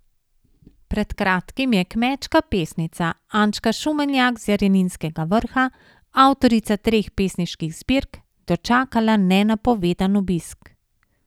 Pred kratkim je kmečka pesnica Ančka Šumenjak z Jareninskega Vrha, avtorica treh pesniških zbirk, dočakala nenapovedan obisk.